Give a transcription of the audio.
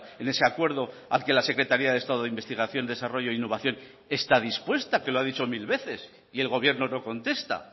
en ese acuerdo al que la secretaria de estado de investigación desarrollo e innovación está dispuesta que lo ha dicho mil veces y el gobierno no contesta